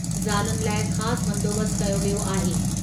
ज़ालुनि लाइ ख़ासि बंदोबस्तु कयो वियो आहे।